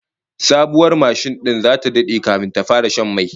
Sabuwar mashin din zata dade kafin ta fara shan mai